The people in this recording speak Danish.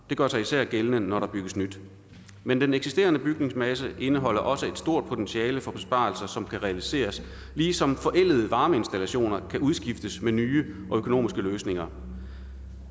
gør sig især gældende når der bygges nyt men den eksisterende bygningsmasse indeholder også et stort potentiale for besparelser som kan realiseres ligesom forældede varmeinstallationer kan udskiftes med nye og økonomiske løsninger